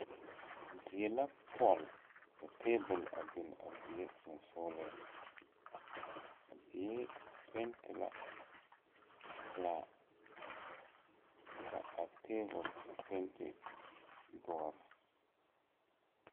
Die la pɔl ka tabol a bin a dieŋ sensugliŋ a die penti la pilaa ka a tabol meŋ penti doɔre.